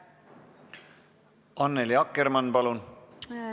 Annely Akkermann, palun!